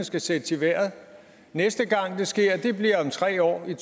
skal sættes i vejret næste gang det sker bliver om tre år i